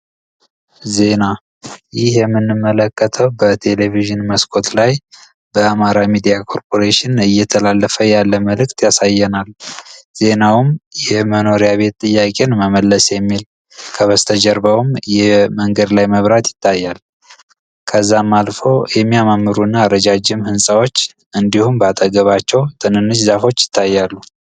ዜና መለከተው በቴሌቪዥን መስኮት ላይ በአማራ ሚዲያ ኮርፖሬሽን እየተላለፈ ያለ መልዕክት ያሳየናል ዜናውን የመኖሪያ ቤት ጥያቄን መመለስ የሚል ከበስተጀርባውም የመንገድ ላይ መብራት ይታያል ከዛም አልፎ የሚያማሩና ከሌላ ህንጻዎች እንዲሁም ባጠገባቸው ትንንሽ ዛፎች ይታያሉ